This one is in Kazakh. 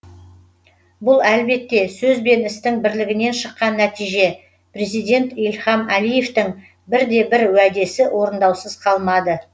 бұл әлбетте сөз бен істің бірлігінен шыққан нәтиже президент ильхам әлиевтің бірде бір уәдесі орындаусыз қалмады